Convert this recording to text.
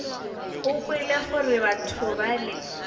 o kwele gore batho bale